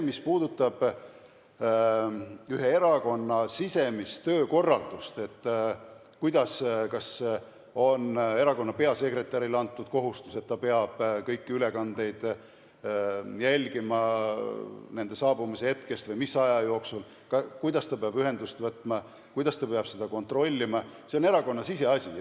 Mis puudutab ühe erakonna sisemist töökorraldust, kas on erakonna peasekretärile antud kohustus, et ta peab kõiki ülekandeid jälgima nende saabumise hetkest alates või mis aja jooksul ja kuidas ta peab ühendust võtma ja midagi kontrollima, siis see on erakonna siseasi.